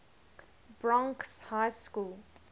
bronx high school